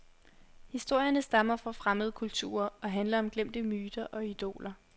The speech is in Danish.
Historierne stammer fra fremmede kulturer og handler om glemte myter og idoler.